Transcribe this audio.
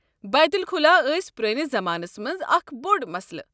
بیت الخلاء ٲسۍ پرٲنِس زمانَس مَنٛز اکھ بوٚڑ مسلہٕ۔